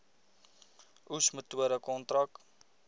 oes metode kontrak